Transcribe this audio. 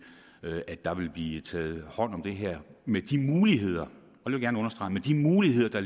at der vil blive taget hånd om det her med de muligheder muligheder